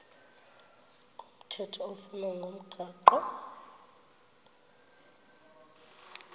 komthetho oflunwa ngumgago